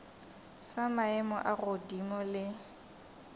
sa maemo a godimo le